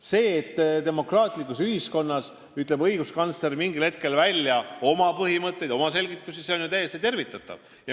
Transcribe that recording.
See, et demokraatlikus ühiskonnas ütleb õiguskantsler mingil hetkel välja oma põhimõtteid ja annab selgitusi, on ju täiesti tervitatav.